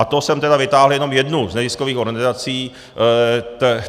A to jsem teda vytáhl jenom jednu z neziskových organizací.